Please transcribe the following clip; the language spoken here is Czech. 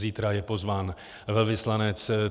Zítra je pozván velvyslanec.